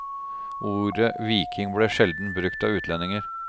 Ordet viking ble sjeldent brukt av utlendinger.